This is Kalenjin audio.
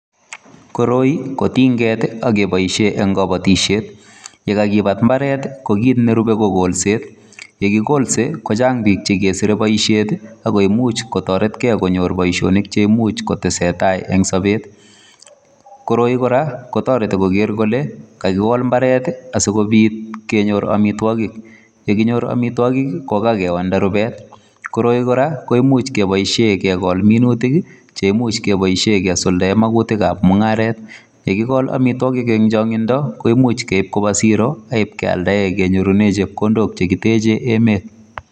Koroi ko tinget akobaishen en kabatishet yekakibat imbaret ko kit nerube ko kolset yekikolse kochang bik chekesire baishet akoimiche kotaretgei Baishonik cheimuche kotaret gei en Sabet koroi koraa kotareti Koger Kole kakiwal imbaret sikobit kenyor amitwagik ak yekinyor amitwagik keyonda rubet ,koroi koraa koimuchi kebaishen kegol minutik cheimuche kebaishen kesuldaen minutik ab mungaret ak yekikol amitwagik en changindo keimuch keib Koba siro akinyorunen chepkondok cheteche emet